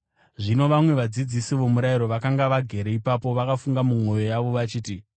Zvino vamwe vadzidzisi vomurayiro, vakanga vagere ipapo, vakafunga mumwoyo yavo vachiti,